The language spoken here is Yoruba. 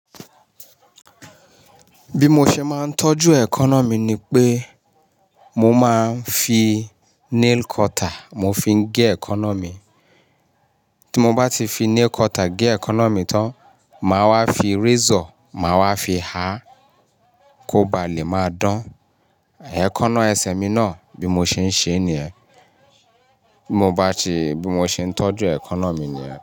Bí mo ṣe máa ń tọ́jú ekana mí ni pé mo máa ń fi nail cutter mo fi gé ekana mí. Tí mo bá ti fi nail cutter gé ekana mi tán, màá wá fi razor màá wá fi há kó ba lè máa dán. Ekana ẹsẹ̀ mi náà bí mo ṣe ń ṣe níyẹn. Bí mo bá ti, bí mo ṣe ń tọ́jú ekana mi níyẹn.